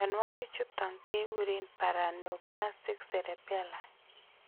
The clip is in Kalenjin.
Mnyonuagik chuton ke guren paraneoplastic cerebellar